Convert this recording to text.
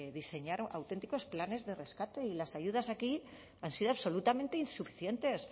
diseñar auténticos planes de rescate y las ayudas aquí han sido absolutamente insuficientes